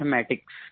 mathematics